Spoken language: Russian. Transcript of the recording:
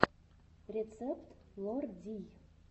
рецепт лор дий